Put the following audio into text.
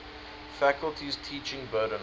faculty's teaching burden